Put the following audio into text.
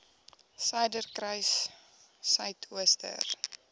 suiderkruissuidooster